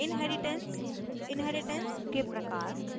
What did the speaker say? inheritance inheritance के प्रकार